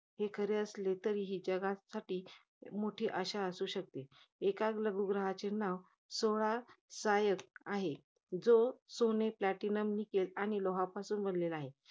असले तरी, जगा~ तरी हे जगासाठी मोठी अशा असू शकते. एका लघु ग्रहाचे नाव, सोळा सायकस, आहे. जे सोने platinum nickel आणि लोहापासून बनलेला आहे.